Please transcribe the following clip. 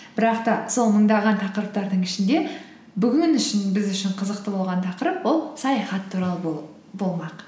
бірақ та сол мыңдаған тақырыптардың ішінде бүгін үшін біз үшін қызықты болған тақырып ол саяхат туралы болмақ